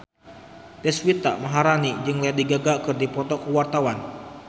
Deswita Maharani jeung Lady Gaga keur dipoto ku wartawan